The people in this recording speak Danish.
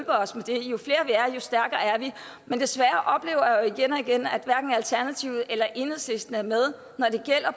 stærkere er vi men desværre oplever jeg jo igen og igen at hverken alternativet eller enhedslisten er med